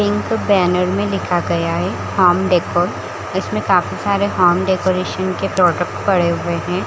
Pink banner में लिखा गया है होम डेकोर इसमें काफी सारे होम डेकोरेशन के प्रोडक्टस पड़े हुए है ।